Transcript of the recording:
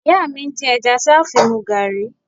Ìyá mi ń dín ẹja tí a ó fi mu gààrí